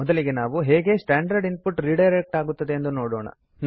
ಮೊದಲಿಗೆ ನಾವು ಹೇಗೆ ಸ್ಟ್ಯಾಂಡರ್ಡ್ ಇನ್ ಪುಟ್ ರಿಡೈರೆಕ್ಟ್ ಆಗುತ್ತದೆ ಎಂದು ನೋಡೋಣ